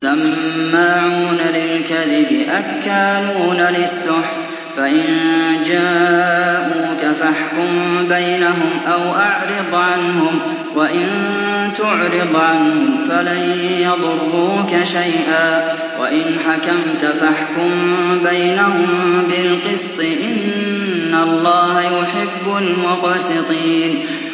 سَمَّاعُونَ لِلْكَذِبِ أَكَّالُونَ لِلسُّحْتِ ۚ فَإِن جَاءُوكَ فَاحْكُم بَيْنَهُمْ أَوْ أَعْرِضْ عَنْهُمْ ۖ وَإِن تُعْرِضْ عَنْهُمْ فَلَن يَضُرُّوكَ شَيْئًا ۖ وَإِنْ حَكَمْتَ فَاحْكُم بَيْنَهُم بِالْقِسْطِ ۚ إِنَّ اللَّهَ يُحِبُّ الْمُقْسِطِينَ